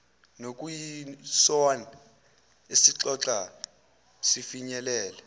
nokuyisona esixoxa sifinyelele